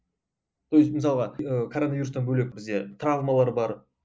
то есть мысалға ыыы короновирустан бөлек бізде травмалар бар